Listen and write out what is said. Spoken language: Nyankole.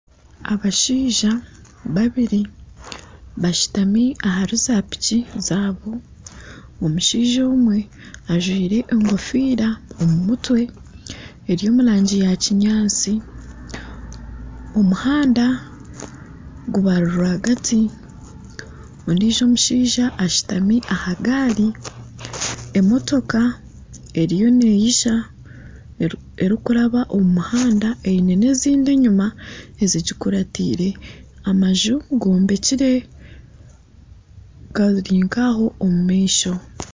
Abashaija babiri bari hari zaapiki zaabo, omushaija omwe ajwaire enkofiira omu mutwe. Eri omu rangi ya kinyaatsi. Omuhanda gubari rwagati. Ondiijo omushaija ashutami aha gaari, emotoka eriyo neija erikuraba omu muhanda eine n'ezindi enyima ezigikuratiire. Amaju gombekire gari nk'aho omu maisho.